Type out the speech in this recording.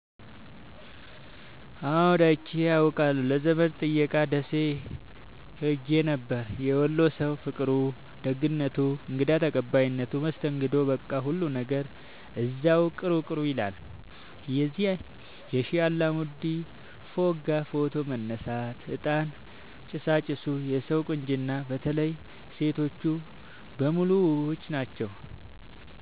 አዎድ አይቼ አቃለሁ ለዘመድ ጥየቃ ደሴ ኸሄ ነበር። የወሎ ሠዉ ፍቅሩ፣ ደግነቱ፣ እንግዳ ተቀባይነቱ መስተንግዶዉ በቃ ሁሉ ነገሩ እዚያዉ ቅሩ ቅሩ ይላል። የሼህ አላሙዲን ፎቅጋ ፎቶ መነሳት፤ እጣን ጭሣጭሡ የሠዉ ቁንጅና በተለይ ሤቶቹ በሙሉ ዉቦች ናቸዉ።